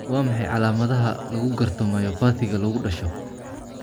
Waa maxay calamadaha iyo calaamadaha lagu garto myopathy-ga lagu dhasho?